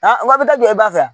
A ko a bɛ taa jɔ e ba fɛ